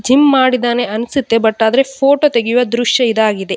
Gym ಮಾಡಿದ್ದಾನೆ ಅನ್ಸುತ್ತೆ but ಆದ್ರೆ ಫೋಟೋ ತೆಗೆಯುವ ದ್ರಶ್ಯ ಇದಾಗಿದೆ.